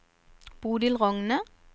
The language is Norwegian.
Bodil Rogne